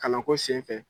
Kalanko senfɛ